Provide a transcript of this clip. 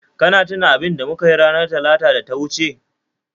Ka tuna abinda mukayi ranar Talata da ta wuce?